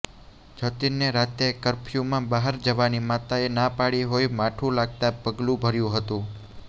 જતીનને રાતે કર્ફયુમાં બહાર જવાની માતાએ ના પાડી હોઇ માઠુ લાગતાં પગલુ ભર્યુ હતું